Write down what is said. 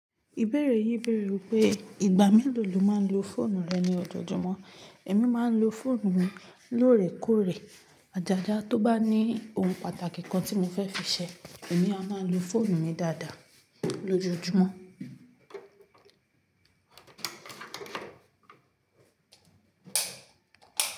Ìbéèrè yín bèèrè pé ìgbà mélòó lo máa ń lo fóònù rẹ ní ojoojúmọ́. Èmi máa ń lo fóònù mi lóòrèkóòrè. Àjàjà tó bá ní ohun pàtàkì kan tí mo fẹ́ fi ṣẹ, èmi a máa lo fóònù mi dáadáa lójoojúmọ́.